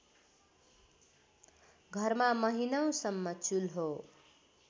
घरमा महिनौसम्म चुल्हो